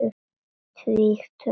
Tvítug að aldri.